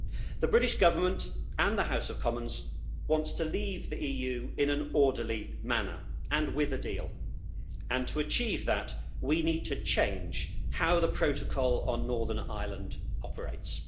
The British Government and the House of Commons wants to leave the EU in an orderly manner and with a deal, and to achieve that we need to change how the protocol on Northern Ireland operates.